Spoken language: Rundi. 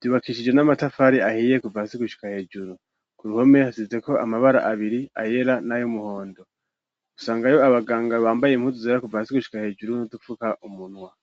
vyubakishije n'amatafari ahiye kuva hasi gushika hejuru ku ruhome hazize ko amabara abiri ayera nayumuhondo gusanga yo abaganga bambaye impuzu zera kuva hasi gushika hejuru no dufuka umunwa.